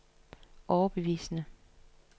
overbevisende